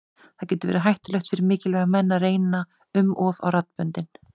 Það getur verið hættulegt fyrir mikilvæga menn að reyna um of á raddböndin.